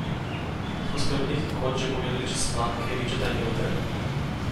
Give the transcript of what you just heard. So oskrbniki koč že pogledali čez planke ričeta in jote?